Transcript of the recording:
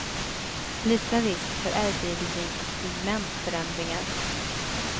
Liten risk för ärrbildning och pigmentförändringar.